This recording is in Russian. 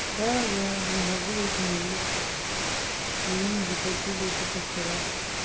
да я не могу выйти на улицу мне не заплатили ещё со вчера